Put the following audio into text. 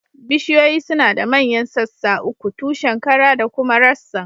Bishiyoyi suna da manyan sassa uku, tushen, kara da kuma rassan